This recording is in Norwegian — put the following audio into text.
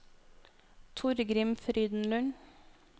Torgrim Frydenlund